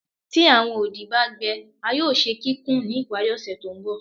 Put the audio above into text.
Ti awọn odi ba gbẹ a yoo ṣe kikun ni ipari ose to nbọ